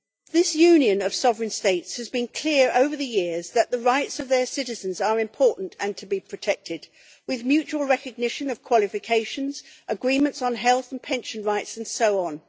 This union of sovereign states has been clear over the years that the rights of their citizens are important and are to be protected, with the mutual recognition of qualifications, agreements on health and pension rights, and so on.